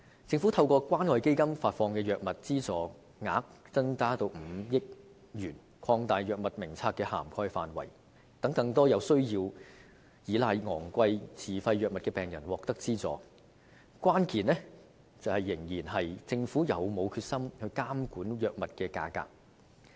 政府將透過關愛基金發放的藥物資助額增至5億元，擴大藥物名冊的涵蓋範圍，讓更多需要依賴昂貴自費藥物的病人獲得資助，但關鍵仍然在於政府有否決心監管藥物價格。